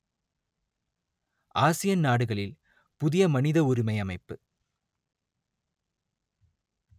Asian நாடுகளில் புதிய மனித உரிமை அமைப்பு